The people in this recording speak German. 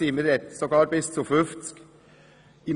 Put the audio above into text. Man spricht von bis zu 50.